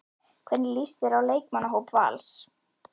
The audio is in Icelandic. Hvernig líst þér á leikmannahóp Vals?